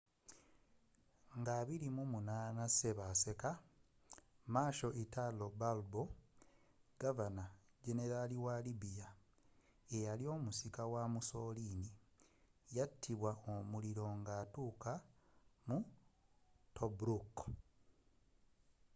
nga 28 ssebaseka marshal italo balbo governor-generalwa libya era omusika wa mussoliniyatibwa omuliro nga atuuka mu tobruk